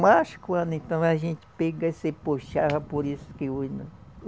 Mas quando então a gente pega e se puxava, por isso que hoje não.